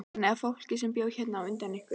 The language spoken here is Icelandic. Þannig að fólkið sem bjó hérna á undan ykkur.